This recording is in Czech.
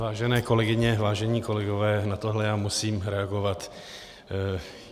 Vážené kolegyně, vážení kolegové, na tohle já musím reagovat.